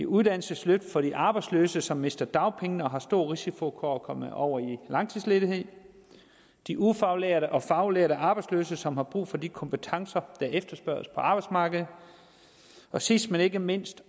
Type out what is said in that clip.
uddannelsesløft for de arbejdsløse som mister dagpengene og har stor risiko for at komme over i langtidsledighed det de ufaglærte og faglærte arbejdsløse som har brug for de kompetencer der efterspørges på arbejdsmarkedet og sidst men ikke mindst